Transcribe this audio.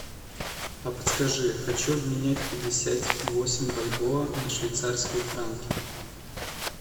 а подскажи хочу обменять пятьдесят восемь бальбоа на швейцарские франки